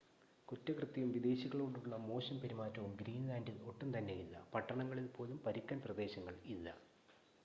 "കുറ്റകൃത്യവും വിദേശികളോടുള്ള മോശം പെരുമാറ്റവും ഗ്രീൻ‌ലാൻഡിൽ ഒട്ടും തന്നെയില്ല. പട്ടണങ്ങളിൽ പോലും "പരുക്കൻ പ്രദേശങ്ങൾ" ഇല്ല.